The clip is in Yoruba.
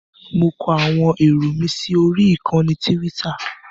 Mo kọ àwọn èrò mi sí orí ìkànnì Tíwítà.